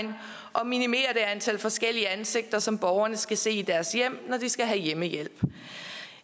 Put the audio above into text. og minimere det antal forskellige ansigter som borgerne skal se i deres hjem når de skal have hjemmehjælp